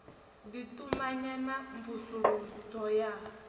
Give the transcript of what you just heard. ḓi tumanya na mvusuludzo ya